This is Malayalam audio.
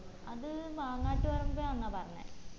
അത് മാങ്ങാട്ടുപറമ്പ ആന്നാ പറഞ്ഞെ